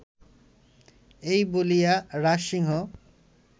এই বলিয়া রাজসিংহ